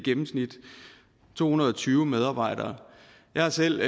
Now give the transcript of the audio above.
i gennemsnit to hundrede og tyve medarbejdere jeg er selv